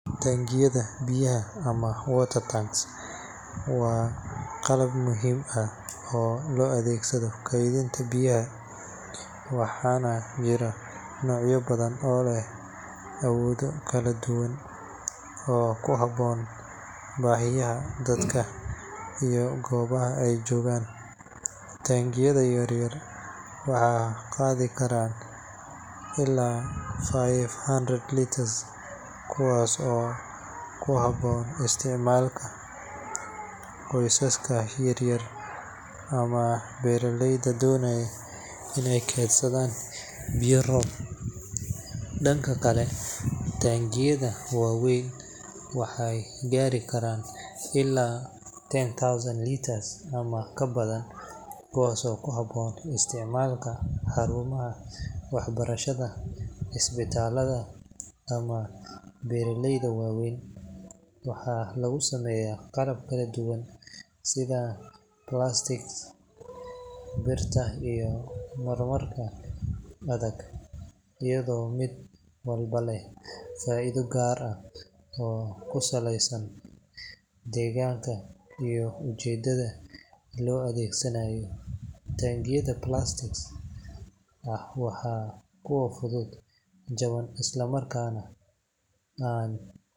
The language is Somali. Taangiyada biyaha ama water tanks waa qalab muhiim ah oo loo adeegsado kaydinta biyaha, waxaana jira noocyo badan oo leh awoodo kala duwan oo ku habboon baahiyaha dadka iyo goobaha ay joogaan. Taangiyada yar yar waxay qaadi karaan ilaa five hundred litres, kuwaas oo ku habboon isticmaalka qoysaska yar yar ama beeraleyda doonaya iney kaydsadaan biyo roob. Dhanka kale, taangiyada waaweyn waxay gaari karaan ilaa ten thousand litres ama ka badan, kuwaas oo ku habboon isticmaalka xarumaha waxbarashada, isbitaallada ama beeraleyda waaweyn. Waxaa lagu sameeyaa qalab kala duwan sida plastic, birta iyo marmar adag, iyadoo mid walba leh faa’iido gaar ah oo ku saleysan iyo ujeedada loo adeegsanayo. Taangiyada plastic ah waa kuwo fudud, jaban, isla markaana aan.